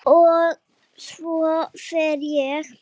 Og svo fer ég.